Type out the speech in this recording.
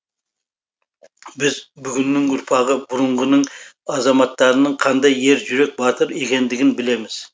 біз бүгіннің ұрпағы бұрынғының азаматтарының қандай ер жүрек батыр екендігін білеміз